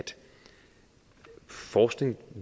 forskning nu